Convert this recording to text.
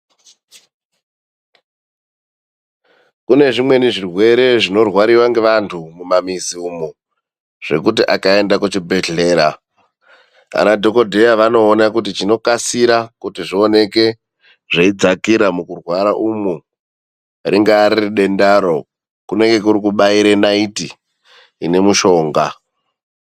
Kunezvimweni zvirwere zvinorwariwe ngevathu mumamizi imwo, zvekuti akaende kuchibhedhlera, anadhokodheya vanoone, kuti chinokasire kuti zvioneke zveidzakira mukurwara umwo ringaa riri dendaro vanoite ekubaire naiti ine mushonga.